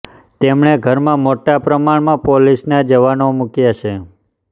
તેમણે ઘરમાં મોટા પ્રમાણમાં પોલિસના જવાનો મુક્યા છે